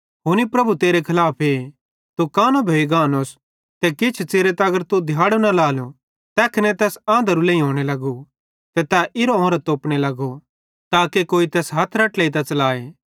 हुनी प्रभु तेरे खलाफे तू कानो भोइगानोस ते किछ च़िरे तगर तू दिहाड़ो न लाएलो तैखने तैस आंधरू लेइयोने लगू ते तै इरांउरां तोपने लगो ताके कोई तैस हथेरां ट्लेइतां च़लाए